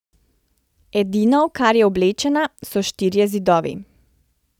Edino, v kar je oblečena, so štirje zidovi.